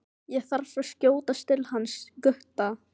Ég þarf að skjótast til hans Gutta.